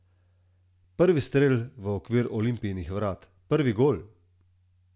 Prvi strel v okvir Olimpijinih vrat, prvi gol!